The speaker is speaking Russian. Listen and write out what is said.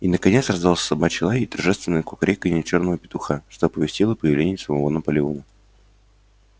и наконец раздался собачий лай и торжественное кукареканье чёрного петуха что оповестило о появлении самого наполеона